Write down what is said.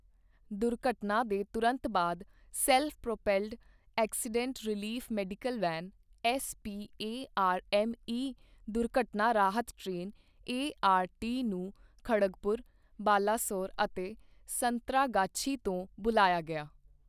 ਦੁਰਘਟਨਾ ਦੇ ਤੁਰੰਤ ਬਾਅਦ self propelled accident relief medical van SPARME ਦੁਰਘਟਨਾ ਰਾਹਤ ਟ੍ਰੇਨ ਏਆਰਟੀ ਨੂੰ ਖੜਗਪੁਰ, ਬਾਲਾਸੋਰ ਅਤੇ ਸੰਤਰਾਗਾਛੀ ਤੋਂ ਬੁਲਾਇਆ ਗਿਆ।